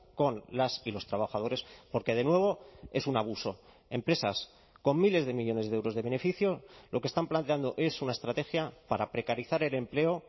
con las y los trabajadores porque de nuevo es un abuso empresas con miles de millónes de euros de beneficio lo que están planteando es una estrategia para precarizar el empleo